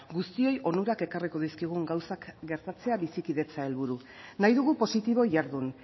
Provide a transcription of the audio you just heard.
guztioi onurak ekarriko dizkigun gauzak gertatzea bizikidetza helburu nahi dugu positibo jardun